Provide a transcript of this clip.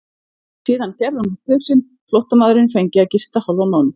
Síðan gerði hún upp hug sinn, flóttamaðurinn fengi að gista hálfan mánuð.